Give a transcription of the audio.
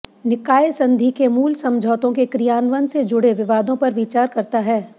निकाय संधि के मूल समझौतों के क्रियान्वयन से जुड़े विवादों पर विचार करता है